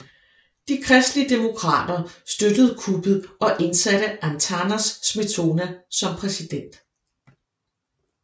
De kristelige demokrater støttede kuppet og indsatte Antanas Smetona som præsident